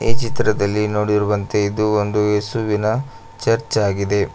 ಈ ಚಿತ್ರದಲ್ಲಿ ನೋಡಿರುವಂತೆ ಇದು ಒಂದು ಯೇಸುವಿನ ಚರ್ಚ್ ಆಗಿದೆ.